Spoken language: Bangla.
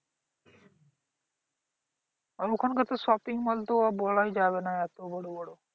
আর ওখানকারতো shopping mall তো বলাই যাবে না এত বড় বড়